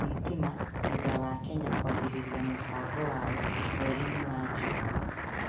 thitima thutha wa Kenya kwambĩrĩria mũbango wayo mweri-inĩ wa Juni.